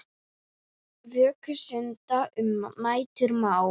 Vöku stunda um nætur má.